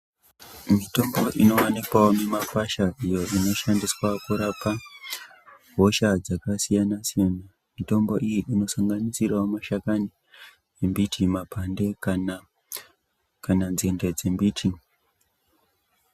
Mitombo inowanikwawo mumakwasha iyo inoshandiswa kurapa hosha dzakasiyanasiyana mitombo iyi inosanganisirawo mashakani ,embiti ,mapande kana nzinde dzembiti.